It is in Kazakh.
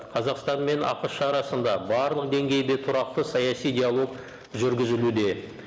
қазақстан мен ақш арасында барлық деңгейде тұрақты саяси диалог жүргізілуде